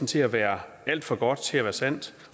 til at være alt for godt til at være sandt